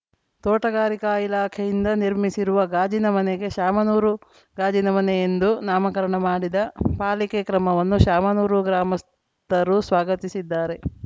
ತೋಟಗಾರಿಕ ಇಲಾಖೆಯಿಂದ ನಿರ್ಮಿಸಿರುವ ಗಾಜಿನ ಮನೆಗೆ ಶಾಮನೂರು ಗಾಜಿನ ಮನೆ ಎಂದು ನಾಮಕರಣ ಮಾಡಿದ ಪಾಲಿಕೆ ಕ್ರಮವನ್ನು ಶಾಮನೂರು ಗ್ರಾಮಸ್ಥರು ಸ್ವಾಗತಿಸಿದ್ದಾರೆ